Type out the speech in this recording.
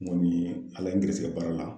Munnu ye an la gɛrisɛgɛ baara la.